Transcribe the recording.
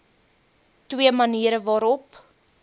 twee maniere waarop